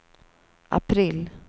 april